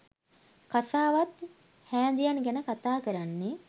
කසාවත් හෑදියන් ගැන කථා කරන්නෙ.